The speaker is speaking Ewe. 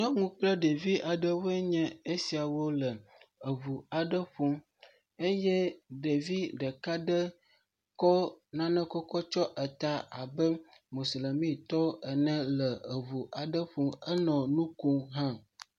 Nyɔnu kple ɖevi aɖewo nye esiawo le eŋu aɖe ƒom eye ɖevi ɖeka ɖe kɔ nane kɔkɔ tsɔ eta abe moslemitɔ ene le eŋu aɖe ƒom enɔ nu kom hã.